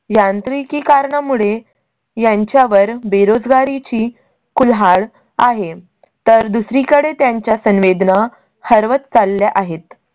यांत्रीकी कारणामुळे यांच्या वर बेरोजगारी ची कुर्हाड आहे, तर दुसरीकडे त्यांच्या संवेदना हरवत चालल्या आहेत.